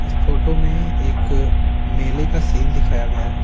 इस फोटो में एक मेले का सीन दिखाया गया है।